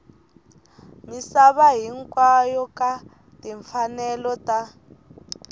misava hinkwayo ka timfanelo ta